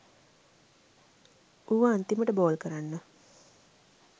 ඌ අන්තිමට බෝල් කරන්න